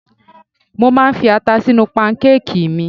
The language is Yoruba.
Mo máa ń fi ata sínú pankákìì mi.